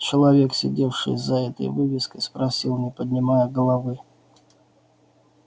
человек сидевший за этой вывеской спросил не поднимая головы